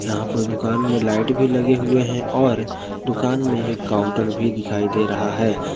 यहां पर दुकान में लाइट भी लगे हुए हैं और दुकान में एक काउंटर भी दिखाई दे रहा है।